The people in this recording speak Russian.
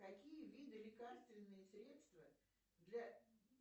какие виды лекарственные средства для